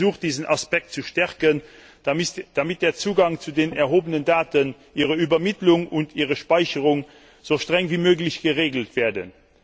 Wir haben versucht, diesen Aspekt zu stärken, damit der Zugang zu den erhobenen Daten, ihre Übermittlung und ihre Speicherung so streng wie möglich geregelt werden.